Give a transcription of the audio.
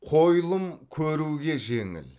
қойылым көруге жеңіл